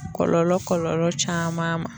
Kɔlɔlɔ kɔlɔlɔ caman ma.